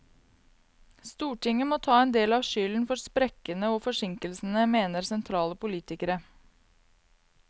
Stortinget må ta en del av skylden for sprekkene og forsinkelsene, mener sentrale politikere.